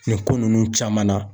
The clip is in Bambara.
Nin ko nunnu caman na.